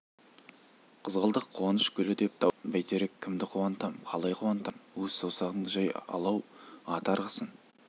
қызғалдақ қуаныш гүлі деп дауыстады бәйтерек кімді қуантам қалай қуантам өс саусағыңды жай алау ат арғысын